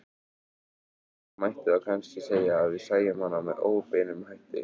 Það mætti þá kannski segja að við sæjum hann með óbeinum hætti.